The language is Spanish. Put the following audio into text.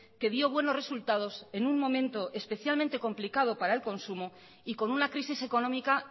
que dio buenos resultados en un momento especialmente complicado para el consumo y con una crisis económica